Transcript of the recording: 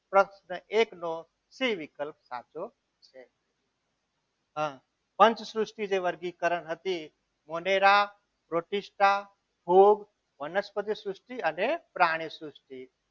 પ્રશ્ન એક નો સી વિકલ્પ સાચો છે પંચ સૃષ્ટિ જે વર્ગીકરણ હતી મોઢેરા પ્રોટીસ્ટા ભૂખ વનસ્પતિ સૃષ્ટિ અને પ્રાણી સૃષ્ટિ